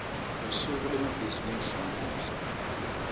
lusuku lwemabhizimisi lamuhla